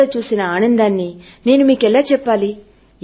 కానీ కథ చెప్పేటప్పుడు ఆ పిల్లలలో చూసిన ఆనందాన్ని నేను మీకెలా చెప్పాలి